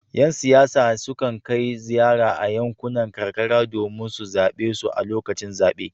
Yan siyasa sukan kai ziyara a yankunan karkara domin su zabe su a lokacin zabe.